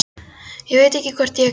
Ég veit ekki hvort ég er gáfuð.